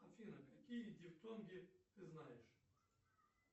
афина какие дифтонги ты знаешь